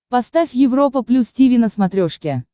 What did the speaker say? поставь европа плюс тиви на смотрешке